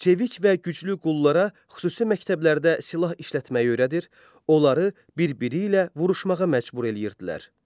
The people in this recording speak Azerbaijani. Çevik və güclü qullara xüsusi məktəblərdə silah işlətməyi öyrədir, onları bir-biri ilə vuruşmağa məcbur eləyirdilər.